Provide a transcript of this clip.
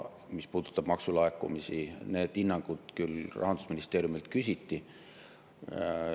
Mis puudutab maksulaekumisi, siin neid hinnanguid küll Rahandusministeeriumilt küsiti.